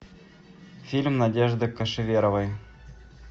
фильм надежды кошеверовой